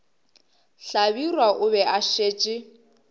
hlabirwa o be a šetše